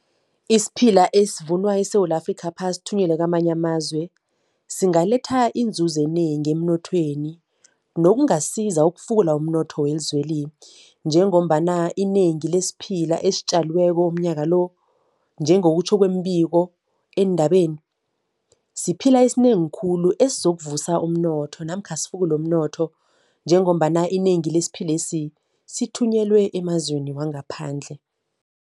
Isiphila esivunwa eSewula Afrikapha sithunyelwe kwamanye amazwe singaletha inzuzo enengi emnothweni nokungasiza ukufukula umnotho welizweli njengombana inengi lesiphila esitjaliweko umnyaka lo, njengokutjho kwemibiko endabeni, siphila esinengi khulu esizokuvusa umnotho namkha sifukule umnotho njengombana inengi lesiphilesi sithunyelwe emazweni wangaphandle.